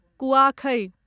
कुआखै